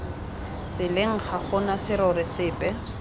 tseleng ga gona serori sepe